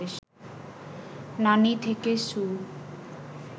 নানী থেকে সু